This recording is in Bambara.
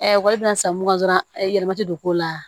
ekɔli bɛna san mun kan dɔrɔn e yɛlɛma tɛ don k'o la